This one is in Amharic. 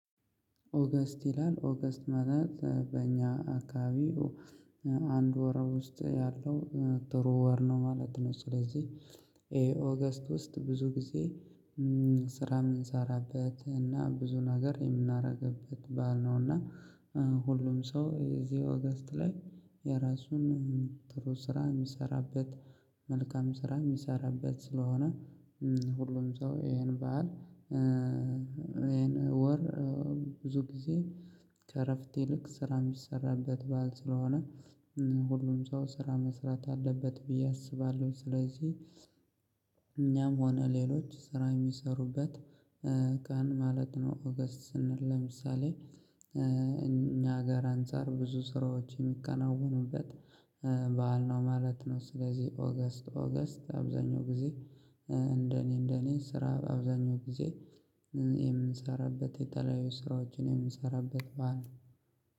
ኦገስት ይላል ኦገስት ማለት በእኛ አካባቢ አንድ ወር ውስጥ ያለው ጥሩ ወር ነው ማለት ነው። ስለዚህ ይሄ ኦገስት ውስጥ ብዙ ጊዜ ስራ የምንሰራበት እና ብዙ ነገር የምናደርግበት በዓል ነው፤ እና ሁሉም ሰው እዚህ ኦገስት ላይ የራሱን ጥሩ ስራ የሚሰራበት መልካም ስራ የሚሰራበት ስለሆነ ሁሉም ሰው ይሄን በዓል ይሄን ወር ብዙ ጊዜ ከእረፍት ይልቅ ስራ የሚሰራበት በዓል ስለሆነ ሁሉም ሰው ስራ መስራት አለበት ብዬ አስባለሁኝ። ስለዚህ እኛም ሆነ ሌሎች ስራ የሚሰሩበት ቀን ማለት ነው ኦገስት ስንል። ለምሳሌ እኛ ጋር አንፃር ብዙ ስራዎች የሚከናወኑበት በዓል ነው ማለት ነው። ስለዚህ ኦገስት ኦገስት አብዛኛው ጊዜ እንደ እኔ እንደ እኔ ስራ አብዛኛው ጊዜ የምንሰራበት የተለያዩ ስራዎችን የምንሰራበት በዓል